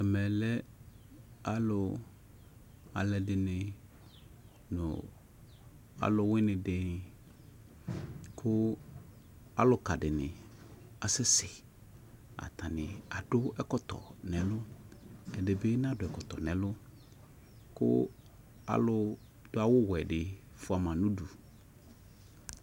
Ɛme lɛ alʊɛdɩnɩ nʊ alʊwɩnɩ dɩnɩ kʊ alʊka dɩnɩ asɛsɛ atanɩ akɔ ɛkɔtɔ nʊvɛlʊ ɛdɩbɩ nakɔ ɛkɔtɔ kʊ alʊ dʊ awʊwɛ dɩ fʊama nʊ ʊdʊ